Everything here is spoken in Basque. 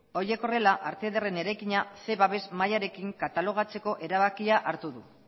horiek horrela arte ederren eraikina ehun babes mailarekin katalogatzeko erabakia hartu du